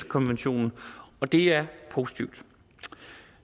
konventionen og det er positivt